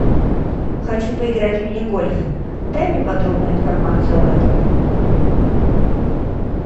хочу поиграть в мини гольф дай мне подробную информацию об этом